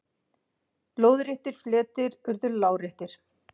Lóðréttir fletir urðu láréttir.